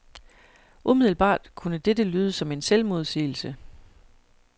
Umiddelbart kunne dette lyde som en selvmodsigelse.